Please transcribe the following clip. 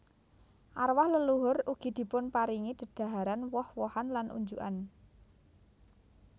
Arwah leluhur ugi dipunparingi dedhaharan woh wohan lan unjukan